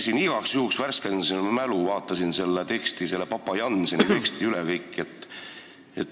Ma igaks juhuks värskendasin oma mälu ja käisin seda papa Jannseni teksti üle vaatamas.